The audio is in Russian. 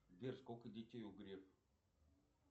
сбер сколько детей у грефа